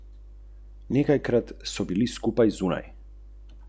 Morda bi takrat učinkovala.